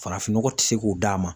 Farafinnɔgɔ ti se k'o d'a ma.